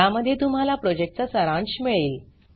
ज्यामध्ये तुम्हाला प्रॉजेक्टचा सारांश मिळेल